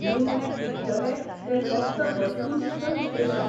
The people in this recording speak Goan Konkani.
निमणें तिगतलें तें फकत वस्तुनिश्ठ विश्लेशण.